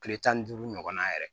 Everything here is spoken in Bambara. Kile tan ni duuru ɲɔgɔnna yɛrɛ